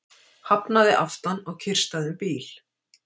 Hafnaði aftan á kyrrstæðum bíl